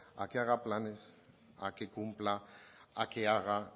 a que haga planes a que cumpla a que haga